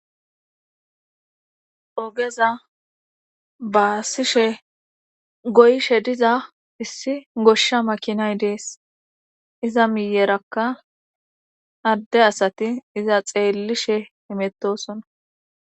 Ogeza baasishe goyshe diza issi goshsha makinay dees iza miyerakka adde asati iza xeellishe imettosona.